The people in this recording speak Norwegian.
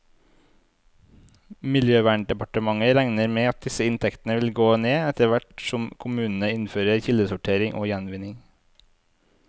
Miljøverndepartementet regner med at disse inntektene vil gå ned, etterhvert som kommunene innfører kildesortering og gjenvinning.